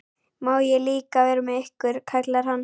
Má ég líka vera með ykkur? kallar hann.